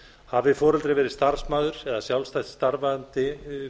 hafi foreldri verið starfsmaður eða sjálfstætt starfandi